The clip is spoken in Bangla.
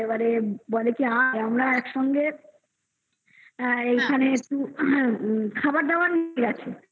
বলে কি আমরা একসঙ্গে আর এইখানে একটু খাবার দাবার নিয়ে গেছে